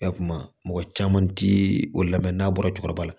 I y'a kuma mɔgɔ caman ti o lamɛn n'a bɔra cɛkɔrɔba